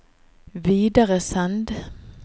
videresend